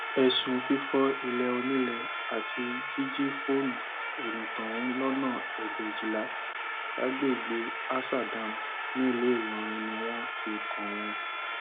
ẹsùn fífọ ilẹ onílẹ àti jíjí fóònù onítọhún lọnà ègbèjìlá lágbègbè ásà dam nílùú ìlọrin ni wọn fi kàn wọn